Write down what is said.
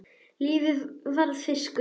Lífið var fiskur.